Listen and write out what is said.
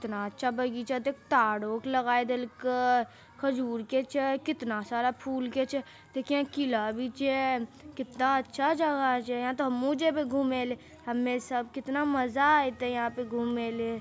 इतना अच्छा बगीचा देख तारों के लगाइ देलके खजूर के छै कितना सारा फुल के छै देख यहां किला भी छै कितना अच्छा जगह छै यहाँ ते हम्हू जइबे घुमेले हम्मे सब कितना मजा आइते यहाँ पे घूमेले।